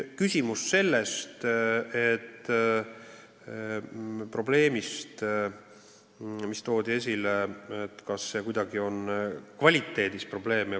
Veel toodi esile küsimus, kas õigusnõu kvaliteediga on probleeme.